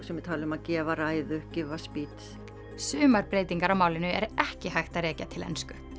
sumir tala um að gefa ræðu give a sumar breytingar á málinu er ekki hægt að rekja til ensku